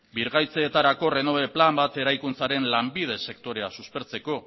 birgaitzeetarako renove plan bat eraikuntzaren lanbide sektorea suspertzeko